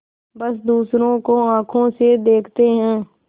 बस दूसरों को आँखों से देखते हैं